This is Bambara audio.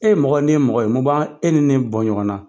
E mɔgɔ ne ye mɔgɔ mun b'an e ni ne bɔ ɲɔgɔn na ?